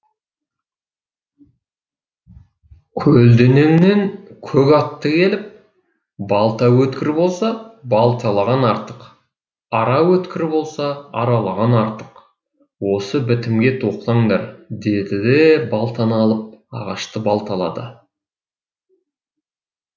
көлденеңнен көк атты келіп балта өткір болса балталаған артық ара өткір болса аралаған артық осы бітімге тоқтаңдар деді де балтаны алып ағашты балталады